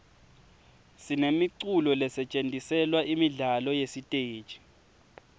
sinemiculo lesetjentiselwa imidlalo yesiteji